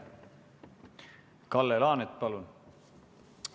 Kalle Laanet, palun!